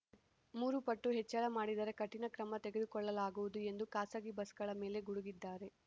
ಮೂರುಪಟ್ಟು ಹೆಚ್ಚಳ ಮಾಡಿದರೆ ಕಠಿಣ ಕ್ರಮ ತೆಗೆದುಕೊಳ್ಳಲಾಗುವುದು ಎಂದು ಖಾಸಗಿ ಬಸ್‌ಗಳ ಮೇಲೆ ಗುಡುಗಿದ್ದಾರೆ